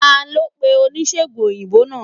Talo pe onisegùn oyinbo naa?